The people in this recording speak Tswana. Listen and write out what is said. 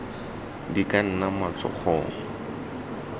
di ka nna mo matsogong